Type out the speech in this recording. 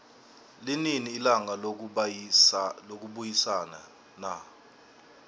linini ilanga lokubayisana na